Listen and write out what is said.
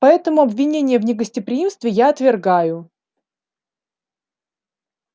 поэтому обвинения в негостеприимстве я отвергаю